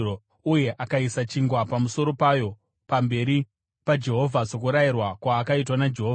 uye akaisa chingwa pamusoro payo pamberi paJehovha, sokurayirwa kwaakaitwa naJehovha.